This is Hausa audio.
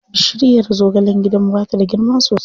Bishirya zagalen gidanmu ba ta da girma sosai.